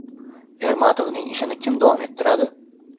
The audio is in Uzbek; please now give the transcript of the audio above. Ermatovning ishini kim davom ettiradi?